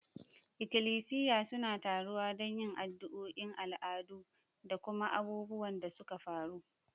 Ikilisiya suna taruwa don yin addu'o'i, al'adu, da kuma abubuwan da suka faru.